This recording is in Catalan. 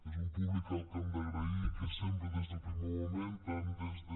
és un públic al que hem d’agrair que sempre des del primer moment tant des de